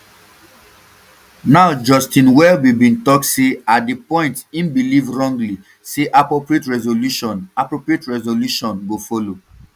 um now justin welby bin tok say at di point im believe wrongly say appropriate resolution appropriate resolution go follow